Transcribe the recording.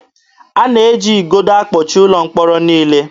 A na-eji igodo akpọchi ụlọ mkpọrọ niile.